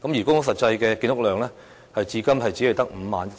公屋實際的建屋量至今只有 51,000 個。